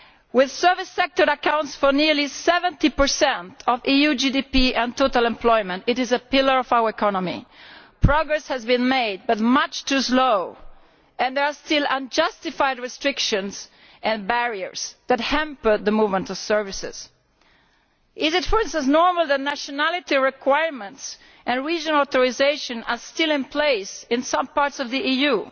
With the service sector accounting for nearly 70 of EU GDP and total employment, it is a pillar of our economy. Progress has been made, but much too slowly and there are still unjustified restrictions and barriers which hamper the movement of services. Is it, for instance, normal that nationality requirements and regional authorisations are still in place in some parts of the EU?